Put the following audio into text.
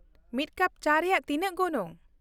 ᱢᱤᱫ ᱠᱟᱯ ᱪᱟ ᱨᱮᱭᱟᱜ ᱛᱤᱱᱟᱹᱜ ᱜᱚᱱᱚᱝ ?